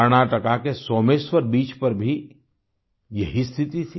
कर्नाटका के सोमेश्वर बीच पर भी यही स्थिति थी